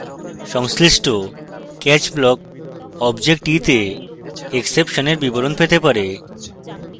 সংশ্লিষ্ট catch block object e the exception এর বিবরণ পেতে পারে